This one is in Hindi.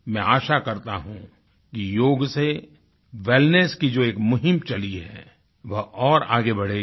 मैं आशा करता हूँ कि योग से वेलनेस की जो एक मुहीम चली है वो आगे बढ़ेगी